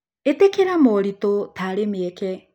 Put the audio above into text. Ĩtĩkĩra moritũ ta arĩ mĩeke.